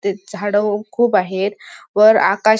ते झाड खूप आहेत वर आकाश--